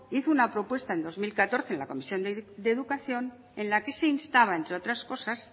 hizo una propuesta en dos mil catorce en la comisión de educación en la que se instaba entre otras cosas